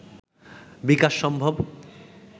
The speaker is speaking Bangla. বিকাশ সম্ভব